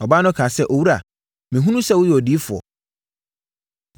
Ɔbaa no kaa sɛ, “Owura, mehunu sɛ woyɛ odiyifoɔ.